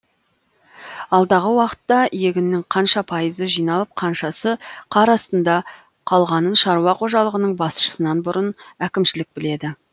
алдағы уақытта егіннің қанша пайызы жиналып қаншасы қар астында қалғанын шаруа қожалығының басшысынан бұрын әкімшілік біледі